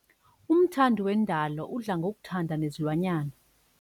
Umthandi wendalo udla ngokuthanda nezilwanyana.